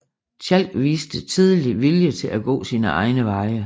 Tjalk viste tidlig vilje til at gå sine egne veje